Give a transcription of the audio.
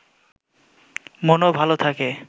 মনও ভালো থাকে